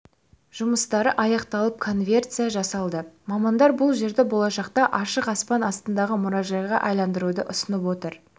жұмыстары аяқталып консервация жасалды мамандар бұл жерді болашақта ашық аспан астындағы мұражайға айналдыруды ұсынып отыр